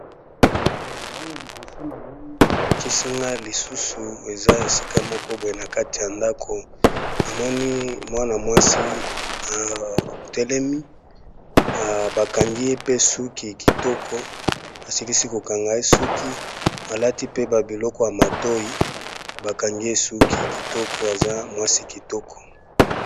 Awa liboso na ngai balakisinga lisusu eza esika moko boye na kati ya ndako, namoni mwana-mwasi atelemi bakangie pe suki kitoko, basilisi kokangaye suki alati pe babiloko ya matoi bakangiye suki kitoko aza mwasi kitoko.